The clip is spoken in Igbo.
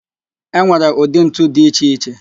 E nwere ụdị ntu dị iche iche